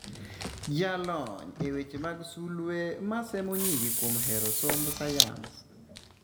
Jalony e weche mag sulwe masemo nyiri kuom hero somb sayans.